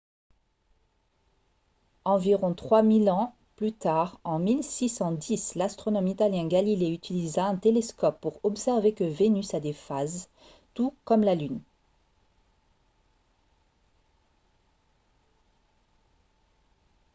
environ trois mille ans plus tard en 1610 l'astronome italien galilée utilisa un télescope pour observer que vénus a des phases tout comme la lune